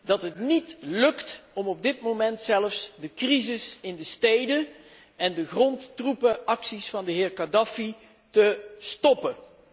dat het niet lukt om op dit moment zelfs de crisis in de steden en de grondtroepenacties van de heer Kadhafi te stoppen.